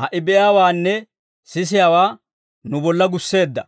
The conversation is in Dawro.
ha"i be'iyaawaanne sisiyaawaa nu bolla gusseedda.